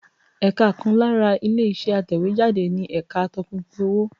Ẹ̀ka kan lára ilé-iṣẹ́ atẹ̀wéjáde ni ẹ̀ka atọpinpin owó.